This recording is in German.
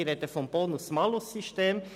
Ich spreche vom Bonus-Malus-System.